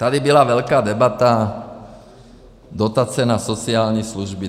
Tady byla velká debata - dotace na sociální služby.